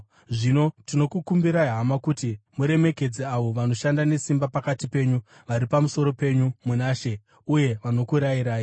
Zvino tinokukumbirai, hama, kuti muremekedze avo vanoshanda nesimba pakati penyu, vari pamusoro penyu muna She uye vanokurayirai.